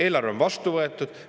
Eelarve on vastu võetud.